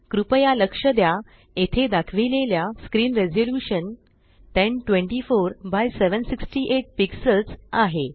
कृपया लक्ष द्या येथे दाखविलेले स्क्रीन रेज़ल्यूशन 1024 एक्स 768 पिक्सल्ज़ आहे